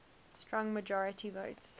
strong majority votes